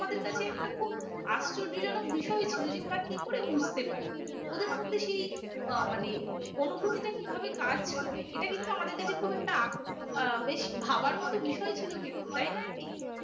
আশ্চর্যজনক বিষয় ছিল যে ওরা কি করে বুঝতে পারে ওদের মধ্যে সেই আহ মানে অনুভূতিটা কিভাবে কাজ করে এটা কিন্তু আমাদের কাছে খুব একটা আহ বেশ ভাবার মতো বিষয় ছিল কিন্তু তাই নয় কি?